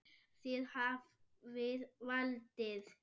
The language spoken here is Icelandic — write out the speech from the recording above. Þið hafið valdið.